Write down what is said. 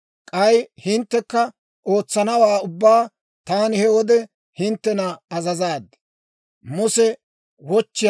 K'ay hinttekka ootsanawaa ubbaa taani he wode hinttena azazaad.